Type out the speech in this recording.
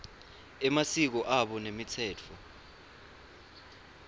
emasiko abo nemitsetfo